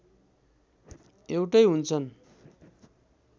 एउटै हुन्छन्